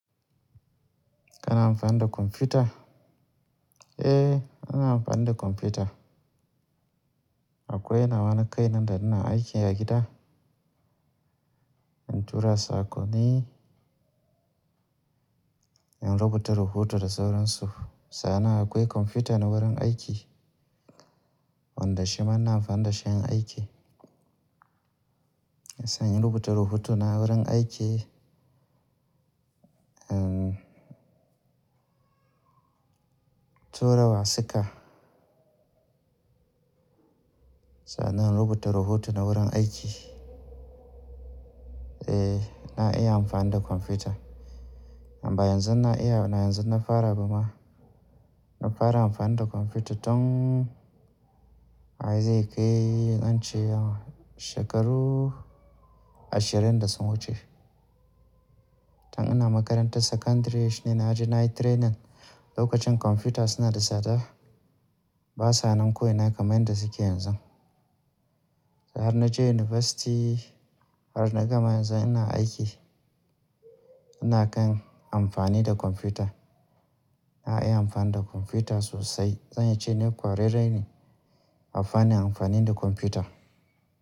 Kana amfani da kwamfuta? Eh, ana amfani da kwamfuta. Akwai nawa na kai nanda ina aiki a gida. In tura saƙonni, in rubuta rahoto da sauran su. Sannan akwai kwamfuta na wurin aiki, wanda shi manna amfani da shi inyi aiki. Sannan in rubuta rahotona wurin aiki, um, tura wasika. Sannan in rubuta rahoto na wurin aiki. Eh, na iya amfani da kwamfuta. Amma yanzu na iya, amma yanzu na fara ba ma. Na fara amfani da kwamfuta tun, wa yanzu ya kai, in ce shekaru ashirin da sun wuce. Tun ina makarantar sakandire shine na ji na yi training. Lokacin kwamfuta suna da sada, ba sa nan ko'ina kamar yadda suke yanzu. Har na je yunifasti, har na gama yanzu ina aiki, ina kan amfani da kwamfuta. Na iya amfani da kwamfuta sosai. Zan iya ce ni kwararre ne a fannin amfani da kwamfuta.